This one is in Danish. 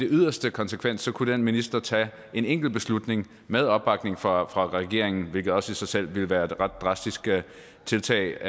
yderste konsekvens kunne den minister tage en enkelt beslutning med opbakning fra fra regeringen hvilket også i sig selv ville være et ret drastisk tiltag